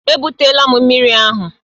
Ebutela mmiri ahụ!